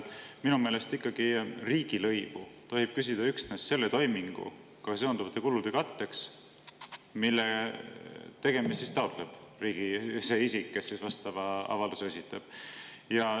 Minu meelest ikkagi tohib riigilõivu küsida üksnes selle toiminguga seonduvate kulude katteks, mille tegemist taotleb see isik, kes vastava avalduse esitab.